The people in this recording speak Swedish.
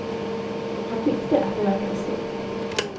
Han tyckte att det verkade skumt.